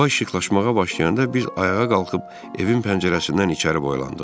Hava işıqlaşmağa başlayanda biz ayağa qalxıb evin pəncərəsindən içəri boylandıq.